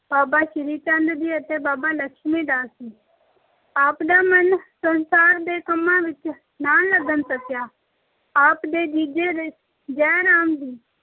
ਬਾਬਾ ਸ੍ਰੀ ਚੰਦ ਜੀ ਅਤੇ ਬਾਬਾ ਲਖਮੀ ਚੰਦ ਜੀ। ਆਪ ਦਾ ਮਨ ਸੰਸਾਰ ਦੇ ਕੰਮਾਂ ਵਿੱਚ ਨਾ ਲੱਗ ਸਕਿਆ। ਆਪ ਦੇ ਜੀਜੇ ਜੈ ਰਾਮ